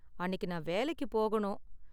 அன்னைக்கு நான் வேலைக்கு போகணும்